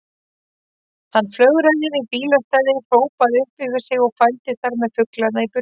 Hann flögraði yfir bílastæði, hrópaði upp yfir sig og fældi þar með fuglana í burtu.